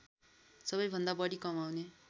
सबैभन्दा बढी कमाउने